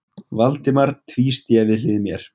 Valdimar tvísté við hlið mér.